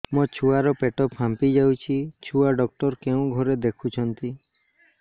ମୋ ଛୁଆ ର ପେଟ ଫାମ୍ପି ଯାଉଛି ଛୁଆ ଡକ୍ଟର କେଉଁ ଘରେ ଦେଖୁ ଛନ୍ତି